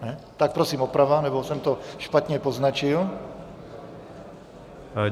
Tak prosím oprava, nebo jsem to špatně poznačil?